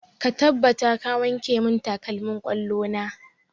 Ka tabbata ka wanke mun takalmin ƙwallo na!